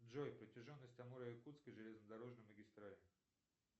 джой протяженность амуро якутской железнодорожной магистрали